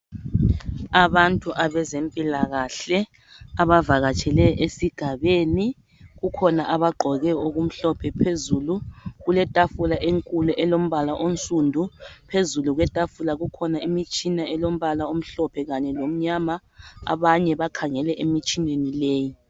Abantu abezempilakahle, abavakatshele esigabeni, kukhona abagqoke okumhlophe phezulu, kuletafula elombala onside, pheźulu kwetafula kukhona imitshina elombala omhlophe kanye lomnyama. Abanye bakhangele emitshineni leyi.